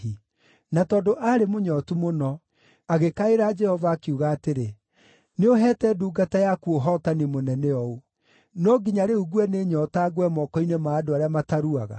Na tondũ aarĩ mũnyootu mũno, agĩkaĩra Jehova, akiuga atĩrĩ, “Nĩũheete ndungata yaku ũhootani mũnene ũũ. No nginya rĩu ngue nĩ nyoota ngwe moko-inĩ ma andũ arĩa mataruaga?”